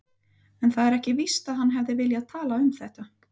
En það er ekki víst að hann hefði viljað tala um þetta.